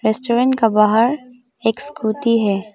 Restaurant का बाहर एक स्कूटी है।